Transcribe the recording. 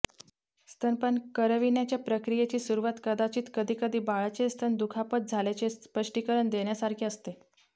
स्तनपान करविण्याच्या प्रक्रियेची सुरवात कदाचित कधीकधी बाळाचे स्तन दुखापत झाल्याचे स्पष्टीकरण देण्यासारखे असते